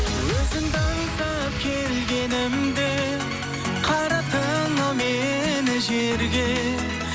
өзіңді аңсап келгенімде қараттың ау мені жерге